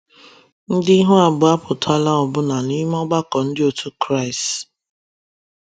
ndi ihụ abụo apụtala ọbula n'ime ọgbako ndi otu kraist